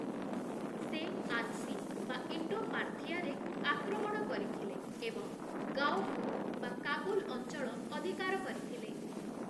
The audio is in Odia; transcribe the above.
ସେ ଆନ୍ସି ରେ (ଇଣ୍ଡୋ-ପାର୍ଥୀଆ) ଆକ୍ରମଣ କରିଥିଲେ ଏବଂ ଗାଓଫୁ (କାବୁଲ) ଅଞ୍ଚଳ ଅଧିକାର କରିଥିଲେ ।